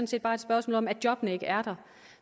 set bare et spørgsmål om at jobbene ikke er der